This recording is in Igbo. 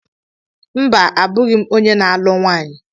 Mba, abụghị m onye na-alu nwaanyi.